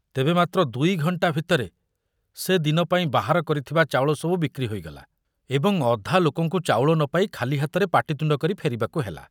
ତେବେ ମାତ୍ର ଦୁଇଘଣ୍ଟା ଭିତରେ ସେ ଦିନ ପାଇଁ ବାହାର କରିଥିବା ଚାଉଳ ସବୁ ବିକ୍ରି ହୋଇଗଲା ଏବଂ ଅଧା ଲୋକଙ୍କୁ ଚାଉଳ ନ ପାଇ ଖାଲି ହାତରେ ପାଟିତୁଣ୍ଡ କରି ଫେରିବାକୁ ହେଲା।